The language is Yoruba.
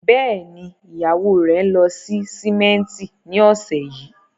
Bẹ́ẹ̀ ni, ìyàwó rẹ̀ ń lọ sí símẹ́ńtì ní ọ̀sẹ̀ yìí